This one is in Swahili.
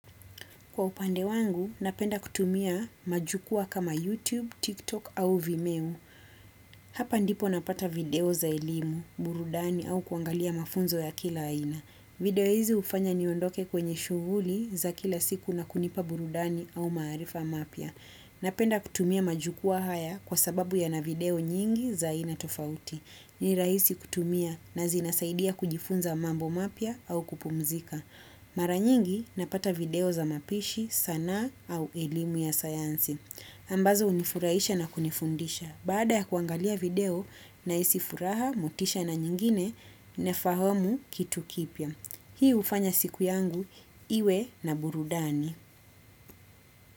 Kwa upande wangu, napenda kutumia majukwaa kama YouTube, TikTok au Vimeo. Hapa ndipo napata video za elimu, burudani au kuangalia mafunzo ya kila aina. Video hizi ufanya niondoke kwenye shughuli za kila siku na kunipa burudani au maarifa mapya. Napenda kutumia majukwaa haya kwa sababu yana video nyingi za aina tofauti. Ni rahisi kutumia na zinasaidia kujifunza mambo mapya au kupumzika. Mara nyingi napata video za mapishi sanaa au elimu ya sayansi ambazo unifurahisha na kunifundisha. Baada ya kuangalia video nahisi furaha, motisha na nyingine nafahamu kitu kipya. Hii hufanya siku yangu iwe na burudani.